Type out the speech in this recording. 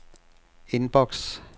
inbox